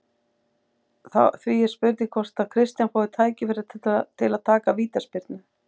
Því er spurning hvort að Kristján fái tækifæri til að taka vítaspyrnu?